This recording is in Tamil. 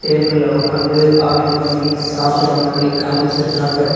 டேபிள்ல ஒக்காந்து ஆர்டர் பண்ணி சாப்பட்ற மாரி காம்ச்சிருக்காங்க.